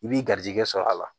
I b'i garizɛgɛ sɔrɔ a la